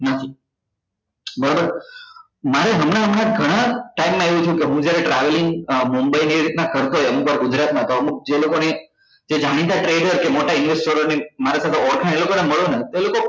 નથી બરાબર મારે હમણાં હમણાં ઘણા time માં એવું થયું કે હું જ્યારે travelling mumbai ને એવી રીતે કરતો હોય અમુક વાર ગુજરાત માં તો અમુક જે લોકો ને જે જાણીતા trader કે મોટા investor ની મારી સાથે ઓળખાણ એ લોકો ના મળું